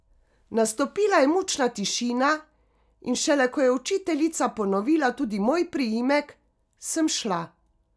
Nastopila je mučna tišina, in šele ko je učiteljica ponovila tudi moj priimek, sem šla.